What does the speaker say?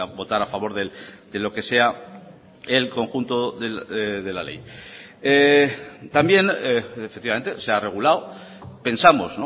votar a favor de lo que sea el conjunto de la ley también efectivamente se ha regulado pensamos